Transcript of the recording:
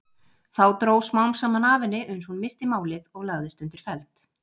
Þá dró smám saman af henni uns hún missti málið og lagðist undir feld.